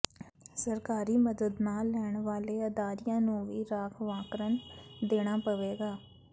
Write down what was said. ਸਰਕਾਰੀ ਮਦਦ ਨਾ ਲੈਣ ਵਾਲੇ ਅਦਾਰਿਆਂ ਨੂੰ ਵੀ ਰਾਖਵਾਂਕਰਨ ਦੇਣਾ ਪਵੇਗਾ